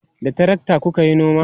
da trakta kukayi noma?